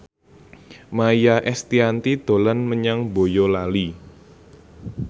Maia Estianty dolan menyang Boyolali